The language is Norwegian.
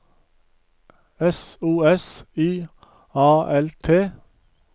S O S I A L T